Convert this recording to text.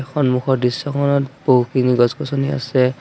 সন্মুখৰ দৃশ্যখনত বহুখিনি গছ-গছনি আছে।